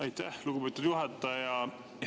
Aitäh, lugupeetud juhataja!